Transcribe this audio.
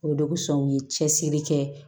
O de kosɔn u ye cɛsiri kɛ